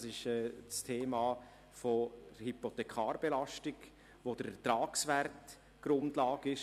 Das ist das Thema der Hypothekarbelastung, deren Grundlage der Ertragswert bildet.